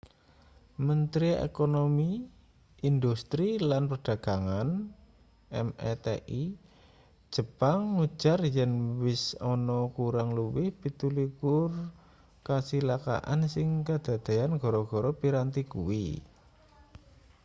mentri ekonomi industri lan perdagangan meti jepang ngujar yen uwis ana kurang luwih 27 kacilakan sing kadadeyan gara-gara piranti kuwi